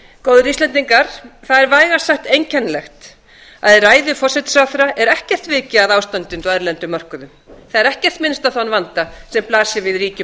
góðir íslendingar það er vægast sagt einkennilegt að í ræðu forsætisráðherra er ekkert vikið að ástandinu á erlendum mörkuðum það er ekkert minnst á þann vanda sem blasir við ríkjum